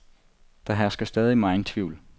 Der hersker stadig megen tvivl.